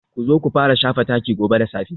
Ku zo ku fara shafa taki gobe da safe